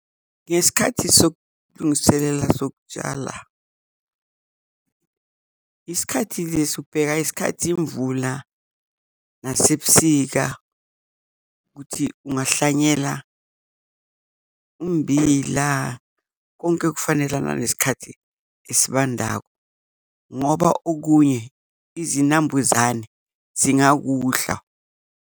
Ngesikhathi sokulungiselela sokutshala isikhathi lesi, ubheka isikhathi imvula nasebusika kuthi ungehlanyela ummbila, konke okufanelana nesikhathi esibandako ngoba okunye izinambuzane zingakudla.